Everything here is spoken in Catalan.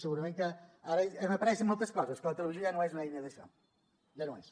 segurament que ara hem après moltes coses que la televisió ja no és l’eina d’això ja no ho és